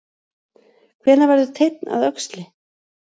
Hvenær verður teinn að öxli?